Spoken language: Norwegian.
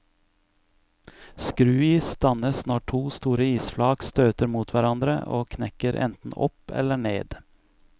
Skruis dannes når to store isflak støter mot hverandre og knekker enten opp eller ned.